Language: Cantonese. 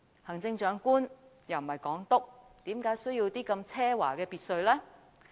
行政長官又不是港督，為何需要這麼奢華的別墅呢？